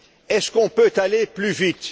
Est ce qu'on peut aller plus